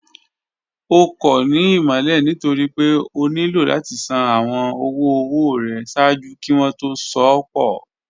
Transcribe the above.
Ọ̀ kọ́ ní ìmọ̀lẹ̀ nítorí pé ọ̀ nílò láti ṣàn awọn ọ̀wọ̀-ọwọ̀ rẹ̀ ṣáàjú kí wọn tó sọ̀ pọ̀